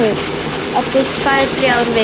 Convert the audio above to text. Eftir tvær, þrjár vikur.